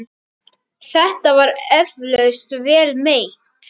Þetta var eflaust vel meint.